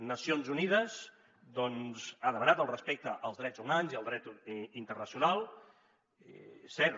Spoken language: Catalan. nacions unides ha demanat el respecte als drets humans i al dret internacional és cert